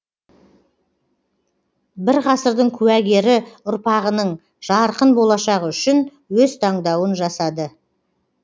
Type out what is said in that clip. бір ғасырдың куәгері ұрпағының жарқын болашағы үшін өз таңдауын жасады